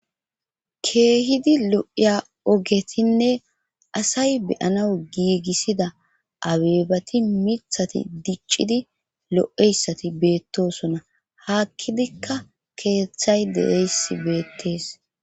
keehidi lo7iya ogetinne asay beyana giigissida abeebati mithati diccidi lo7eyssati beettosona haakkidikka keeththay deeyss beettees